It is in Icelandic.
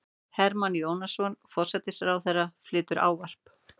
Hermann Jónasson, forsætisráðherra, flytur ávarp.